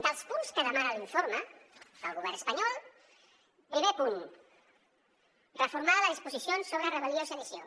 dels punts que demana l’informe del govern espanyol primer punt reformar les disposicions sobre rebel·lió i sedició